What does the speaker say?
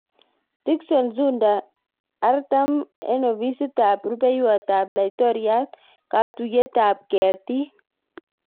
Tixon Nzunda-4Ofisit ab Rupeiywot ap Laitoriat, Katuiyet ap ketik